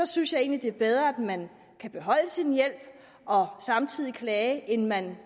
synes egentlig det er bedre at man kan beholde sin hjælp og samtidig klage end at man